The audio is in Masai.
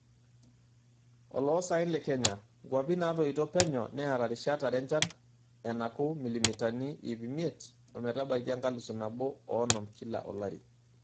Oloosaen le Kenya:Nkwapi natoito penyo neata rishat are enchan enaku milimitani iip miet ometabaiki enkalusu nabo oonom kila olari.